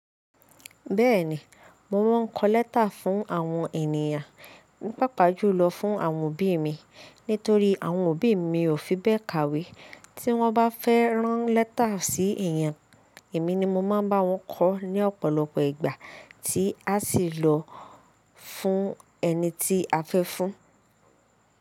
Bẹ́ẹ̀ni, mo máa n kọ lẹ́tà fún àwọn ènìyàn, pàápàá jùlọ fún àwọn òbí mi nítorí àwọn òbí mi ò fi bẹ́ẹ̀ kàwé. Tí wọ́n bá fẹ́ rán lẹ́tà sí èèyàn, èmi ni mo máa n bá wọn kọ ní ọ̀pọ̀lọpọ̀ ìgbà tí a sì lọ fún ẹni tí a fẹ́ fún.